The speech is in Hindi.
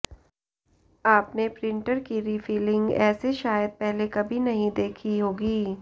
आपने प्रिंटर की रिफिलिंग ऐसे शायद पहले कभी नहीं देखी होगी